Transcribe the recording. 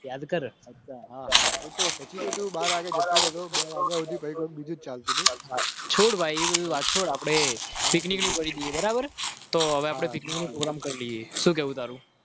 યાદ કર